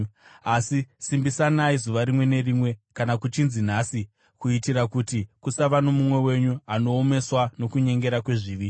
Asi simbisanai zuva rimwe nerimwe, kana kuchinzi Nhasi, kuitira kuti kusava nomumwe wenyu anoomeswa nokunyengera kwezvivi.